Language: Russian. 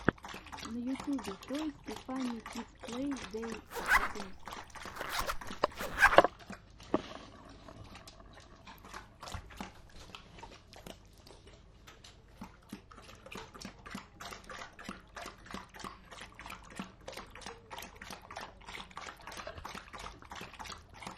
на ютубе тойс и фанни кидс плей дей катунс